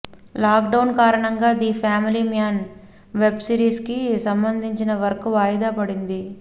lock down కారణంగా the family man web series కి సంబంధించిన వర్క్ వాయిదా పడింది